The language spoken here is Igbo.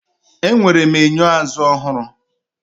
Enwere m enyo azụ ọhụrụ.